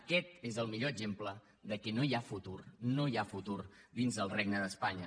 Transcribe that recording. aquest és el millor exemple de que no hi ha futur no hi ha futur dins del regne d’espanya